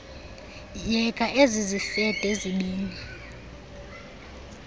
yeka ezizifede zibini